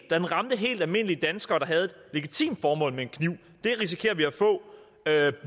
den ramte helt almindelige danskere der havde et legitimt formål med en kniv